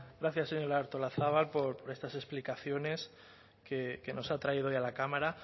gracias señora artolazabal por estas explicaciones que nos ha traído hoy a la cámara